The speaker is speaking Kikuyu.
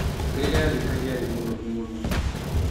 Rĩrĩa arĩkagia arĩ mũnogu mũno.